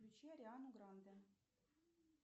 включи ариану гранде